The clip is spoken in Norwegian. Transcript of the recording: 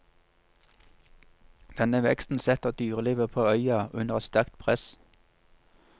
Denne veksten setter dyrelivet på øya under et sterkt press.